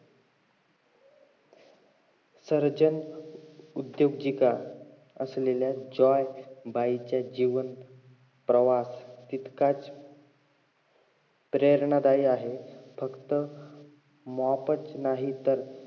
surgen उद्दोजिका असलेला जॉय बाईचा जीवन प्रवास तितकाच प्रेरणादायी आहे फक्त mop च नाहीतर